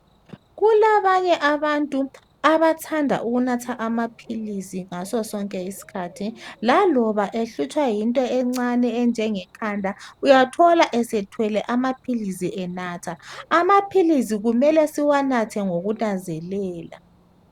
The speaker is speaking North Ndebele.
Kulabanye abantu abathanda ukunatha amaphilisi ngasosonke isikhathi laloba ehlutshwa yinto encane enjengekhanda uyathola esethwele amaphilisi enatha. Amaphilisi kumele siwanathe ngokunanzelela.